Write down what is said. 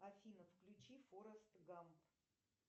афина включи форест гамп